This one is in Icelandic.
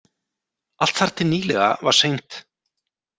Allt þar til nýlega var St